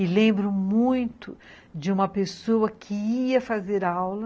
E lembro muito de uma pessoa que ia fazer aula